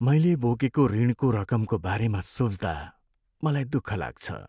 मैले बोकेको ऋणको रकमको बारेमा सोच्दा मलाई दुःख लाग्छ।